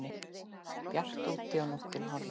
Bjart úti og nóttin horfin.